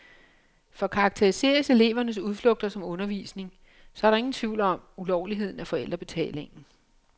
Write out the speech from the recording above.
For karakteriseres elevernes udflugter som undervisning, så er der ingen tvivl om ulovligheden af forældrebetalingen.